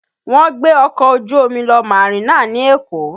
Wọ́n gbé ọkọ̀ ojú omi lọ Marina ní Èkó